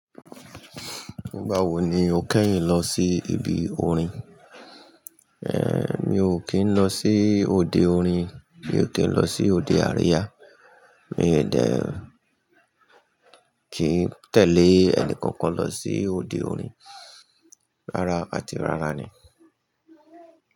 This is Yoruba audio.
Ìgbàwo ni o kẹ́hìn lọ sí ibi orin? Mi ò kì n lọ sí òde orin, mi ò kì n lọ sí òde aríyà, mie dé, kì í tẹ́lẹ̀ ẹnì kankan lọ sí òde orin, rárá àti rárá ni.